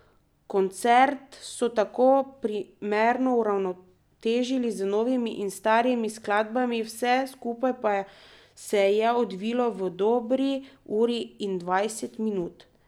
Koncert so tako primerno uravnotežili z novimi in starimi skladbami, vse skupaj pa se je odvilo v dobri uri in dvajset minut.